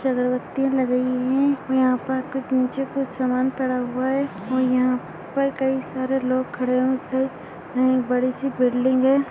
अगरबत्तियां लगाई हुई है और यहाँ पर नीचे कुछ सामान पड़ा हुआ है और यहाँ पर कई सारे लोग खड़े हुए हैं बड़ी सी बिल्डिंग है।